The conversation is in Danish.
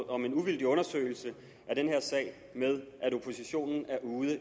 om en uvildig undersøgelse af den her sag med at oppositionen er ude i